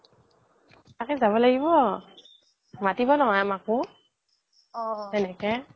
তকেই যাব লাগিব মাতিব নহয় আমাকো সেনেকে